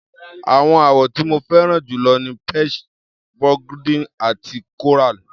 Àwọn àwọ̀ tí mo fẹ́ràn jù lọ ni peach, burgundy àti coral.